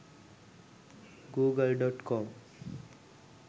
google.com